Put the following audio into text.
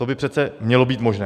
To by přece mělo být možné.